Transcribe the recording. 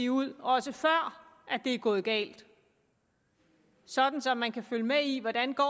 ud også før det går galt sådan så man kan følge med i hvordan